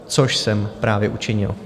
Což jsem právě učinil.